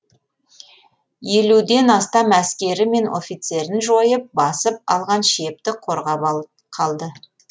елуден астам әскері мен офицерін жойып басып алған шепті қорғап қалды